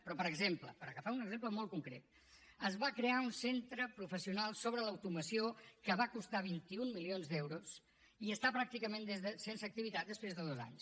però per exemple per agafar un exemple molt concret es va crear un centre professional sobre l’automoció que va costar vint un milions d’euros i està pràcticament sense activitat després de dos anys